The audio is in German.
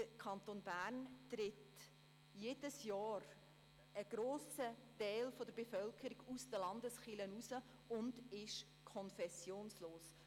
Im Kanton Bern tritt jedes Jahr ein grosser Teil der Bevölkerung aus der Landeskirche aus und ist konfessionslos.